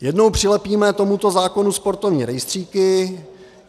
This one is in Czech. Jednou přilepíme tomuto zákonu sportovní rejstříky.